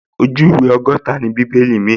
Ojú ìwé ọgọ́ta ni àwọn báíbù míì